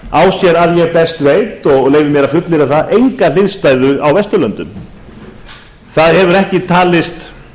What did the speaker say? að ég best veit og leyfi mér að fullyrða það enga hliðstæðu á vesturlöndum það hefur ekki talist